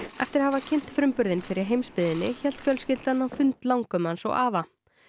eftir að hafa kynnt frumburðinn fyrir heimsbyggðinni hélt fjölskyldan á fund langömmu hans og afa